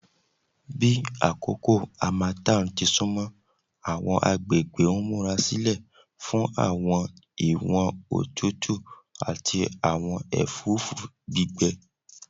Bi akoko harmattan ti sunmọ, awọn agbegbe n murasilẹ fun awọn iwọn otutu tutu ati awọn ẹfũfu gbigbẹ